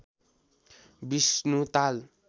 Vishnu Tal